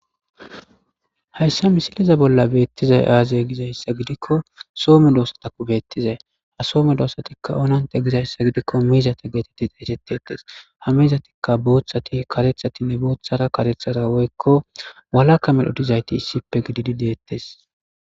Hayisa misileza bola betizayi aze gizayisa gidikko Soho medosatakko betizayi ha Soho medosatakka onanitte gizayisa gidikko mizata getetidi eretetesi ha mizatikka boththati kareththatinne woyikko kareththaranne boththara walaama medhoyi dizayiti issippekka detesi